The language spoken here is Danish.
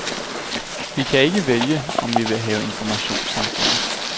Vi kan ikke vælge, om vi vil have informationssamfundet.